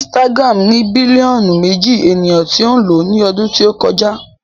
Instagram ní bílíọ̀nù méjì ènìyàn tí ń lò ó ní ọdún tí o kọjá